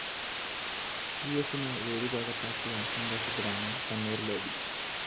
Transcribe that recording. V S വേലിക്കകത്താക്കിയ സന്തോഷത്തിലാണ് Kannur‍ lobby